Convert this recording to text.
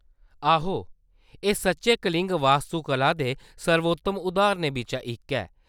आहो, एह्‌‌ सच्चैं कलिंग वास्तुकला दे सर्वोत्तम उदाहरणें बिच्चा इक ऐ।